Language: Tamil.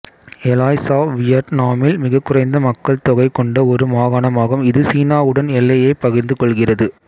எலாய் சாவ் வியட்நாமில் மிகக்குறைந்த மக்கள்தொகை கொண்ட ஒரு மாகாணமாகும் இது சீனாவுடன் எல்லையைப் பகிர்ந்து கொள்கிறது